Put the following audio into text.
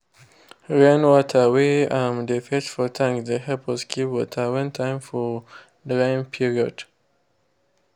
rainwater wey um dey fetch for tanks dey help us keep water when time for drying period.